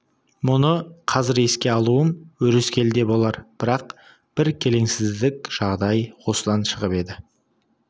мұны қазір еске алуым өрескел де болар бірақ бір келеңсіздік жағдай осыдан шығып еді